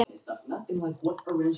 Kemur þú ekki með?